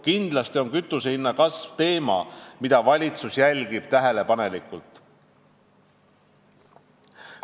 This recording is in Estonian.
Kindlasti on kütusehinna kasv teema, mida valitsus tähelepanelikult jälgib.